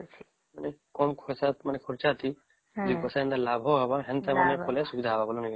କଁ ଖର୍ଚ ଥି ଦୁଇ ପଇସା ଲାଭ ହବ ସେମିତ ମାନେ କଲେ ସୁବିଧା ହେବ ନାଇଁ କି